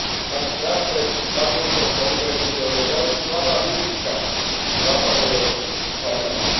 Mať strach pred takouto konkurenciou je veľmi slabá vizitka západoeurópskych farmárov.